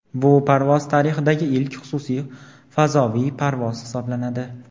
Bu parvoz tarixdagi ilk xususiy fazoviy parvoz hisoblanadi.